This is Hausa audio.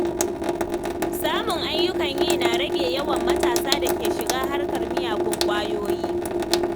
Samun ayyukan yi na rage yawan matasa da ke shiga harkar miyagun ƙwayoyi.